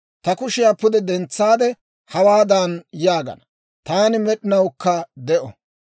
Ta kushiyaa pude dentsaade hawaadan yaagana; «Taani med'inawukka de'o.